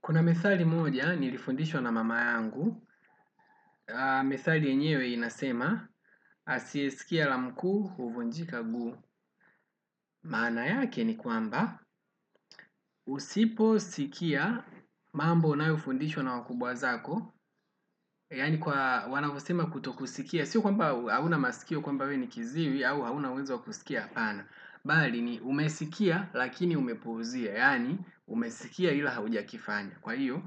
Kuna methali moja nilifundishwa na mama yangu methali yenyewe inasema asiye sikia la mkuu huvunjika guu maana yake ni kwamba, usiposikia mambo unayofundishwa na wakubwa zako, yaani kwa wanavyosema kuto kusikia, si kwamba hauna masikio kwamba we ni kiziwi au hauna uwezo wa kusikia hapana. Bali ni umesikia lakini umepuuzia yaani umesikia ila hujakifanya kwa hio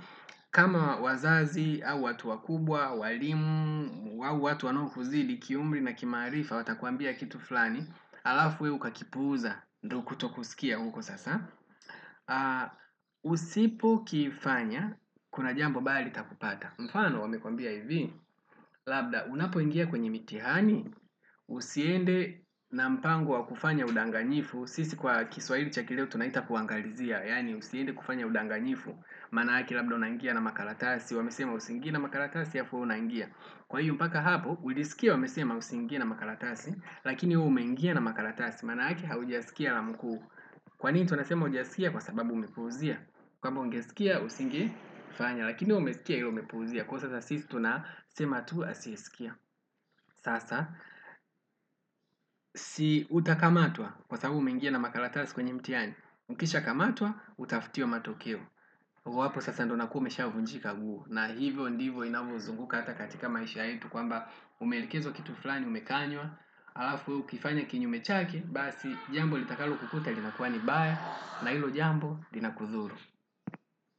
kama wazazi au watu wakubwa walimu au watu wanao kuzidi kiumri na kimaarifa. Watakwambia kitu fulani alafu wewe uka kipuuza ndo kuto kusikia huko sasa. Usipo kifanya kuna jambo mbaya litakupata mfano wamekuambia hivi labda unapo ingia kwenye mitihani. Usiende na mpango wa kufanya udanganyifu sisi kwa kiswahili cha kileo tunaita kuangalizia yaani usiende kufanya udanganyifu maanake labda unaingia na makaratasi. Wamesema usiingie na makaratasi alafu wewe unaingia kwa hio mpaka hapo. Ulisikia wamesema usiingie na makaratasi lakini we umeingia na makaratasi maanake haujasikia la mkuu kwa nini tunasema hujasikia kwa sababu umepuuzia kwamba ungesikia usinge fanya lakini umesikia ila umepuuzia kwa hio hata sisi tunasema tu asiyesikia. Sasa si utakamatwa kwa sababu umeingia na makaratasi kwenye mtihani. Ukisha kamatwa, utafutiwe matokeo huu hapo sasa ndo unakuwa umeshavunjika guu na hivyo ndivyo inavyo zunguka hata katika maisha yetu kwamba umeelekezwa kitu fulani umekanywa alafu ukifanya kinyume chake basi jambo litakalo kukuta linakuwa ni mbaya na hilo jambo linakudhuru.